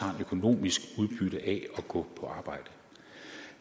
har et økonomisk udbytte af at gå på arbejde